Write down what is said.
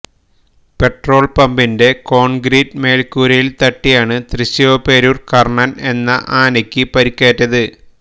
petrol പമ്പിന്റെ concrete മേല്ക്കൂരയില് തട്ടിയാണ് തൃശീവപെരൂര് കര്ണന് എന്ന ആനയ്്ക്ക് പരിക്കേറ്റത്